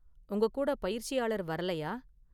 உங்க கூட பயிற்சியாளர் வரலையா?